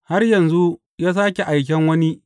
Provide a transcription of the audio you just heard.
Har yanzu ya sāke aikan wani.